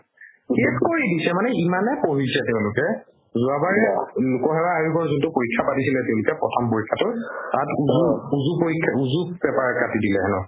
শেষ কৰি দিছে মানে ইমানে পঢ়িছে তেওঁলোকে যোৱাবাৰ এই লোকসেৱা আয়োগৰ যোনতো পৰীক্ষা পাতিছিলে তেওঁলোকে প্ৰথম পৰীক্ষা তাত উজু উজু পৰীক্ষা উজু paper কাটি দিলে হেনু